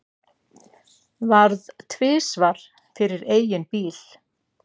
Varð tvisvar fyrir eigin bíl